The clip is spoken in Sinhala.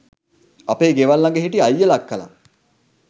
අපේ ගෙවල් ළඟ හිටි අයියලා අක්කලා